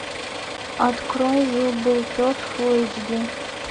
открой жил был пес фул эйч ди